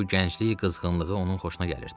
Bu gənclik qızğınlığı onun xoşuna gəlirdi.